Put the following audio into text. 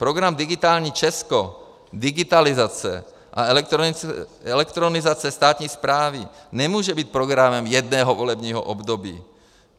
Program digitální Česko, digitalizace a elektronizace státní správy nemůže být programem jednoho volebního období.